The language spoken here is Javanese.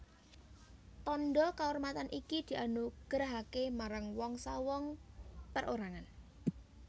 Tandha kaurmatan iki dianugerahaké marang wong sawong perorangan